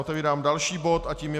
Otevírám další bod a tím je